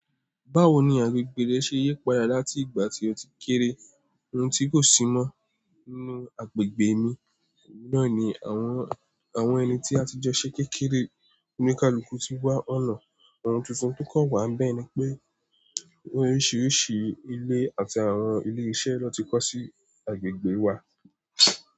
Báwo ni agbègbè rẹ ṣe yípadà láti ìgbà tí o ti kéeré? Ohun tí kò si mọ́ nínú agbègbè mi náà ni àwọn ẹni tí a ti jọ ṣé kékeré. Oníkálukú ti wá ọ̀nà, ohun tuntun tó kàn wá bẹ́ ni pé ohun oríṣiríṣi ilé àti àwọn ilé iṣẹ́ ló n ti kọ́ sí agbègbè wa.